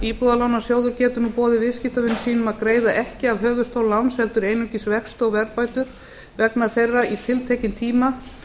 íbúðalánasjóður getur nú boðið viðskiptavinum sínum að greiða ekki af höfuðstól láns heldur einungis vexti og verðbætur vegna þeirra í tiltekinn tíma